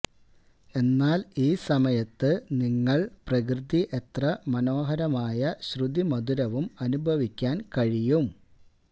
എന്നാൽ ഈ സമയത്ത് നിങ്ങൾ പ്രകൃതി എത്ര മനോഹരമായ ശ്രുതിമധുരവും അനുഭവിക്കാൻ കഴിയും